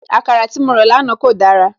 Àkàrà tí mo rà lánàá kò dára